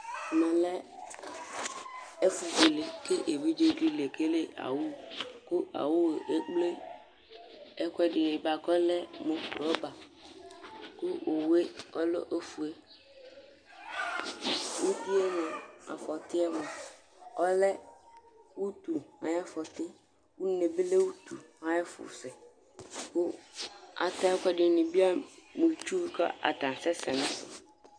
Ɛmɛ lɛ ɛfubuele Ku evidzeɖi le kele awu Ku awu yɛ ékplé ɛkuɛɖini buaku ɔlɛ mu lɔba Ku owu yɛ ɔlɛ ofue Uwi yɛ mua, afɔti yɛ mua, ɔlɛ utu ayu afɔti Une yɛ bi lɛ utu atu ayu ɛfu sɛ Ku ata ɛkuɛɖinibi alɛ mu itsúh, ku atani asɛ sɛ